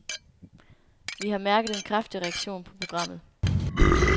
Vi har mærket en kraftig reaktion på programmet.